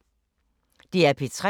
DR P3